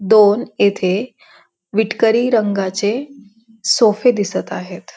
दोन इथे विटकरी रंगाचे सोफे दिसत आहेत.